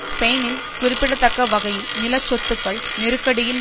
ஸ்பெயினில் குறிப்பிடத்தக்க வகையில் நில சொத்துக்கள் நெருக்கடியின்